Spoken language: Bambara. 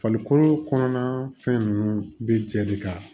Farikolo kɔnɔna fɛn ninnu bɛ jɛ de ka